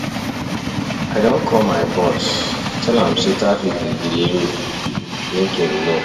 I don call my boss, tell am sey traffic dey delay me, make im know